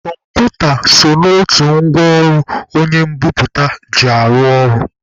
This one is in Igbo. Kọmputa so n'otu ngwa ọrụ onye mbiputa ji arụ ọrụ.